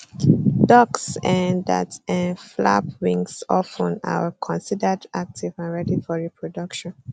ducks um that um flap wings of ten are considered active and ready for reproduction